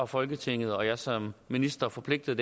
folketinget og jeg som minister forpligtet